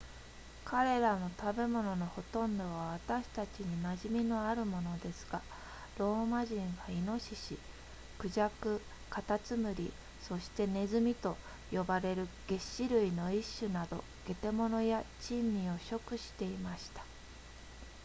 彼らの食べ物のほとんどは私たちに馴染みのあるものですがローマ人はイノシシ孔雀カタツムリそしてネズミと呼ばれる齧歯類の一種など下手物や珍味を食していました